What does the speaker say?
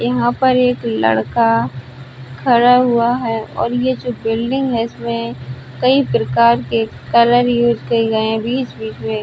यहाँ पर एक लड़का खड़ा हुआ है और यह जो बिल्डिंग है इसमें कई प्रकार के कलर यूज़ किए गए हैं बीच-बीच में --